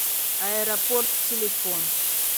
аэропорт телефон